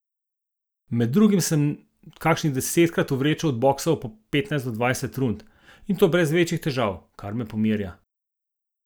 Med drugim sem kakšnih desetkrat z vrečo odboksal po petnajst do dvajset rund, in to brez večjih težav, kar me pomirja.